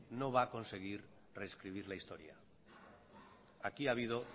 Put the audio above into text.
no va a conseguir rescribir la historia aquí ha habido